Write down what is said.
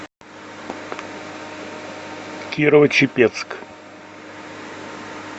кирово чепецк